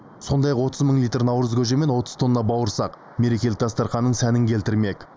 сондай ақ отыз мың литр наурыз көже мен отыз тонна бауырсақ мерекелік дастарханның сәнін келтірмек